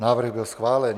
Návrh byl schválen.